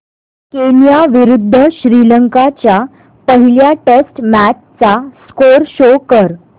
Kenya विरुद्ध श्रीलंका च्या पहिल्या टेस्ट मॅच चा स्कोअर शो कर